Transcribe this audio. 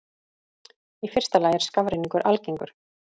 Í fyrsta lagi er skafrenningur algengur.